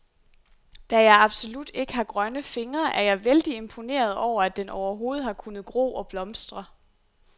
Da jeg absolut ikke har grønne fingre, er jeg vældig imponeret over, at den overhovedet har kunnet gro og blomstre.